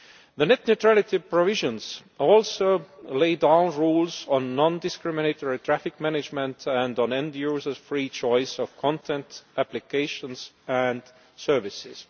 The net neutrality provisions also lay down rules on non discriminatory traffic management and on end-users' free choice of content, applications and services.